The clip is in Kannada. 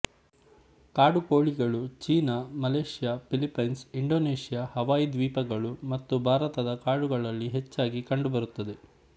ಕಾಡುಕೋಳಿಗಳು China Malaysia Philippines Indonesia Hawaii ದ್ವೀಪಗಳು ಮತ್ತು ಭಾರತದ ಕಾಡುಗಳಲ್ಲಿ ಹೆಚ್ಚಾಗಿ ಕಂಡು ಬರುತ್ತದೆ